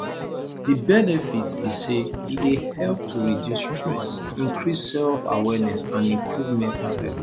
di benefit be say e dey help to reduce stress increase selfawareness and improve mental health